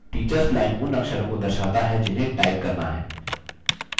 teachers line उन अक्षरों को दर्शाता है जिन्हें टाइप करना है